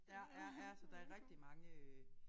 Ja ja ja så der rigtig mange øh